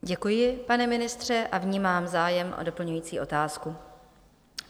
Děkuji, pane ministře, a vnímám zájem o doplňující otázku.